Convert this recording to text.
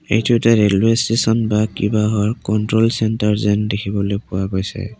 এইটো এটা railway station বা কিবাহৰ কন্ট্ৰল চেন্টাৰ যেন দেখিবলৈ পোৱা গৈছে।